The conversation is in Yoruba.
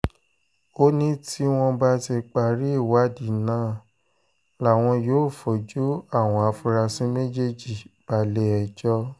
ó ní tí wọ́n bá ti parí ìwádìí náà làwọn yóò fojú àwọn afurasí méjèèjì balẹ̀-ẹjọ́